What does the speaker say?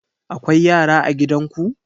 Akwai yara a gidan ku?